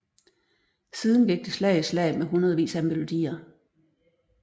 Siden gik det slag i slag med hundredvis af melodier